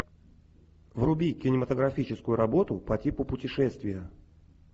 вруби кинематографическую работу по типу путешествия